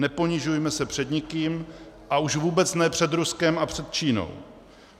Neponižujme se před nikým, a už vůbec ne před Ruskem a před Čínou.